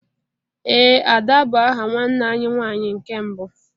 Ee Ada bu aha nwanne anyi nwanyị nke mbụ